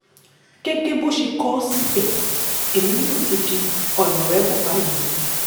gẹ́gẹ́ bó ṣe kọ ọ́ síbẹ̀ èmi náà ti di ọ̀nàrẹ́bù báyìí o